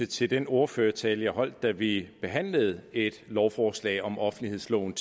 til den ordførertale jeg holdt da vi behandlede et lovforslag om offentlighedsloven